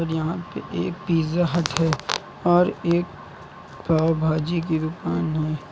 यहां पे एक पिज्जा हट है और एक पाव भाजी की दुकान है।